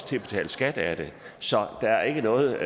til at betale skat af det så der er ikke noget